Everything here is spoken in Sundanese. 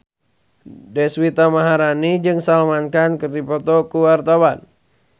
Deswita Maharani jeung Salman Khan keur dipoto ku wartawan